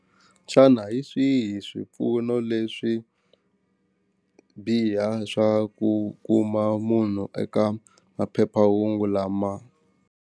Xana hi swihi swipfuno leswi biha swa ku kuma munhu eka maphephahungu lama.